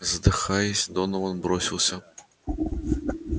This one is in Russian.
задыхаясь донован бросился